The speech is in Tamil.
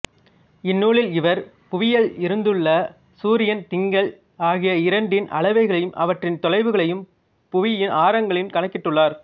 இந்நூலில் இவர் புவியில் இருந்துள்ள சூரியன் திங்கள் ஆகிய இரண்டின் அளவுகளையும் அவற்றின் தொலைவுகளையும் புவியின் ஆரங்களில் கணக்கிட்டுள்ளார்